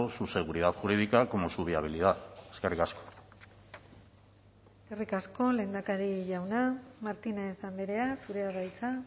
su seguridad jurídica como su viabilidad eskerrik asko eskerrik asko lehendakari jauna martínez andrea zurea da hitza